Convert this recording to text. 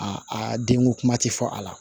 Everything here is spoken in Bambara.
A denko kuma tɛ fɔ a la